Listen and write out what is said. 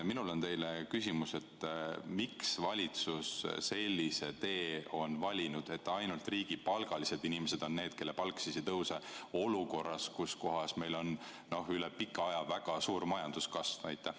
Minul on teile küsimus: miks on valitsus valinud sellise tee, et ainult riigipalgalised inimesed on need, kelle palk ei tõuse olukorras, kus üle pika aja on väga suur majanduskasv?